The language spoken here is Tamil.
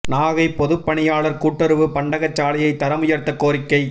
நாகை பொதுப் பணியாளா் கூட்டுறவு பண்டக சாலையை தரம் உயா்த்த கோரிக்கை